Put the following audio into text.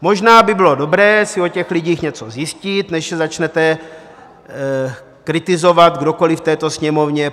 Možná by bylo dobré si o těch lidech něco zjistit, než je začnete kritizovat, kdokoli v této Sněmovně.